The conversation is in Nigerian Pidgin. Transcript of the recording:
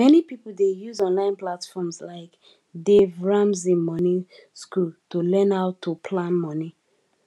many people dey use online platforms like dave ramsey money school to learn how to plan money